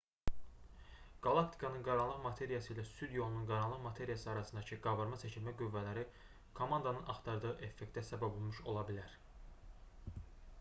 qalaktikanın qaranlıq materiyası ilə süd yolunun qaranlıq materiyası arasındakı qabarma-çəkilmə qüvvələri komandanın axtardığı effektə səbəb olmuş ola bilər